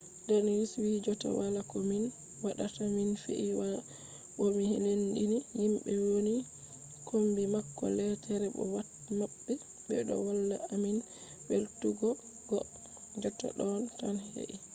danius wi jotta wala ko min waɗata mi fiyi waya bo mi lendini himɓe woni kombi mako leetere bo pat maɓɓe ɓe ɗo walla amin welwutuggo. jotta ɗo tan he’i